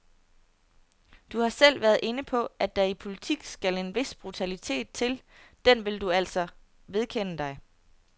Du har selv været inde på, at der i politik skal en vis brutalitet til, den vil du altså vedkende dig.